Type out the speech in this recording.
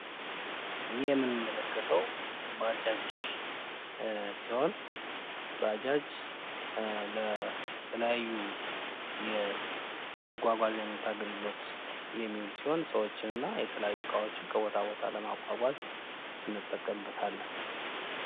ይሄ የምንመለከተው ባጃጅ ሲሆን ባጃጅ ለተለያዩ ለመጓጓዣነት አገልግሎት የሚውል ሲሆን ሰዎች እና የተለያዩ እቃዎች ከቦታ ከቦታ ለማጓጓዝ እንጠቀምበታለን።